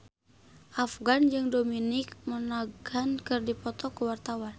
Afgan jeung Dominic Monaghan keur dipoto ku wartawan